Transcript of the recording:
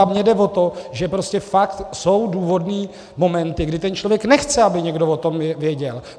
A mně jde o to, že prostě fakt jsou důvodné momenty, kdy ten člověk nechce, aby někdo o tom věděl.